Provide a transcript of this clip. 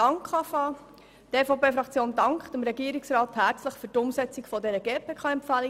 Die EVP-Fraktion dankt dem Regierungsrat herzlich für die Umsetzung der GPK-Empfehlung.